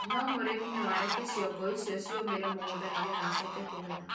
no mũrĩmĩ no areke cĩongo ĩcĩo cĩũmĩre mũgũnda nĩgetha acoke kũgetha